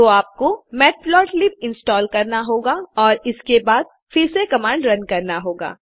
तो आपको matplotlib install करना होगा और उसके बाद फिर से कमांड रन करना होगा